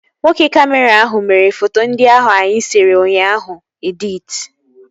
Nwoke kamịra ahụ mere foto ndị ahụ anyị sere ụnyaahụ editi